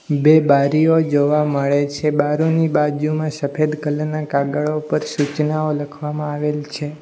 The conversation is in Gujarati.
બે બારીઓ જોવા મળે છે બારોની બાજુમાં સફેદ કલર ના કાગળો ઉપર સૂચનાઓ લખવામાં આવેલ છે.